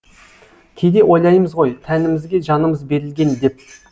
кейде ойлаймыз ғой тәнімізге жанымыз берілген деп